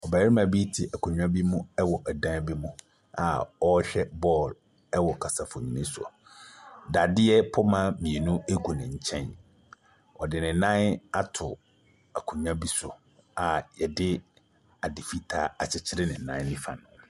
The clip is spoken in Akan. Barima bi te akonnwa bi mu wɔ dan bi mu a ɔrehwɛ bɔɔl ɛwɔ kasafonni so. Dadeɛ poma mmienu egu ne nkyɛn. Ɔde ne nan ato akonnwa bi so a yɛde ade fitaa akyekyerɛ ne nan nifa no.